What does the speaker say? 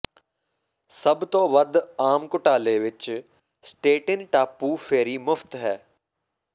ਸਭ ਤੋਂ ਵੱਧ ਆਮ ਘੁਟਾਲੇ ਵਿੱਚ ਸਟੇਟਿਨ ਟਾਪੂ ਫੈਰੀ ਮੁਫ਼ਤ ਹੈ